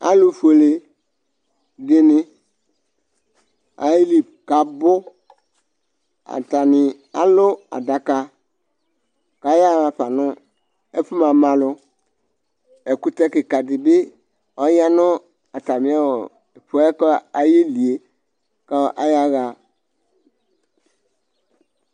Aalu fueleɖini aayeli k'abuAatani alʋ aɖaka, k'ayaɣa fa nʋ ɛfʋ mama lʋƐkʋtɛ kikaɖibi ɔyaa nʋ atami ɔɔɔɔ fʋɛayelie k'ayaɣa